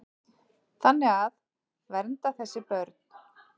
Þannig að. vernda þessi börn.